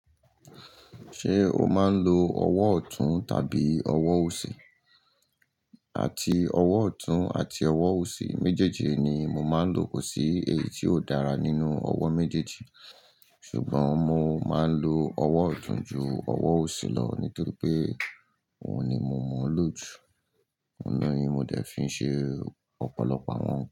Ṣé o máa ń lo ọwọ́ ọ̀tún tàbí ọwọ́ òsì? Àti ọwọ́ ọ̀tún àti ọwọ́ òsì méjèèjì ni mo máa ń lò kò sí èyí tí ó dára nínú ọwọ́ méjèèjì. Ṣùgbọ́n mo máa ń lo ọwọ́ ọ̀tún ju ọwọ́ òsì lọ nítorí pé òun ni mo mọ̀ lò jù, òun ni mo dẹ̀ fi ṣe ọ̀pọ̀lọpọ̀ àwọn.